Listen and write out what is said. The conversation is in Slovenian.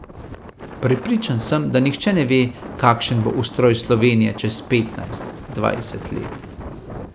Prepričan sem, da nihče ne ve, kakšen bo ustroj Slovenije čez petnajst, dvajset let.